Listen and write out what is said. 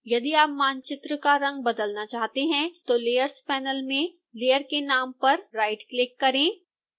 यदि आप मानचित्र को रंग बदलना चाहते हैं तो layers panel में layer के नाम पर राइटक्लिक करें